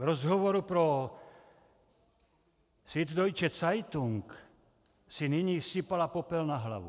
V rozhovoru pro Süddeutsche Zeitung si nyní sypala popel na hlavu.